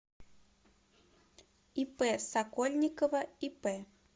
ип сокольникова ип